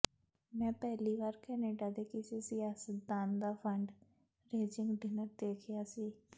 ਮੈਂ ਪਹਿਲੀ ਵਾਰ ਕੈਨੇਡਾ ਦੇ ਕਿਸੇ ਸਿਆਸਤਦਾਨ ਦਾ ਫ਼ੰਡ ਰੇਜ਼ਿੰਗ ਡਿਨਰ ਦੇਖਿਆ ਸੀ